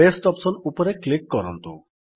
paste option ଉପରେ click କରନ୍ତୁ